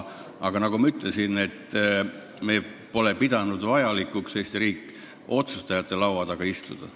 Aga nagu ma ütlesin, Eesti riik pole pidanud vajalikuks otsustajate laua taga istuda.